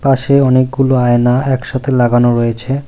পাশে অনেকগুলো আয়না একসাথে লাগানো রয়েছে।